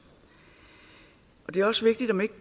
og det er også vigtigt at man ikke